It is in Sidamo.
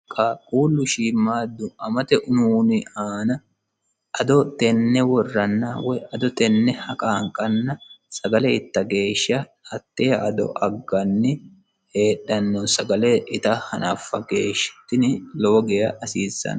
Qaaqulu shiimadu amatte ununni aana ado tenne worana woyi ado tene haqaniqanna sagale itta geesha hate ado aganni heedhano sagale ita hanafa geesha tini lowo geha hasisanno